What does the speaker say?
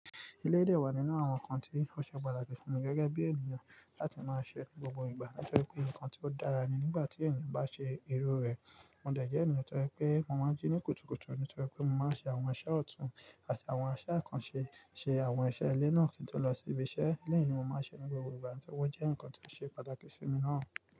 Eléyìí dẹ wá nínú àwọn nǹkan tí ó ṣe pàtàkì fún mi gẹ́gẹ́ bí ènìyàn láti máa ṣe ní gbogbo ìgbà. Nítorí pé nǹkan tí ó dára nì nígbà tí ènìyàn bá ṣe irú rẹ̀. Mo dẹ̀ jẹ́ ènìyàn nítorí pé mo máa n jí ní kùtùkùtù nítorí pé mo máa ń ṣe àwọn iṣẹ́ ọ̀tún àti àwọn iṣẹ́ àkànṣe, ṣe àwọn iṣẹ́ ilé náà kí n tó lọ sí ibi iṣẹ́ eléyìí ní mo máa ṣe ní gbogbo ìgbà. Nítorí ó jẹ́ nǹkan tí ó ṣe pàtàkì sí mi náà.